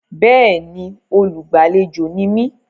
Bẹ́ẹ̀ni, olúgbàléjò ni mí.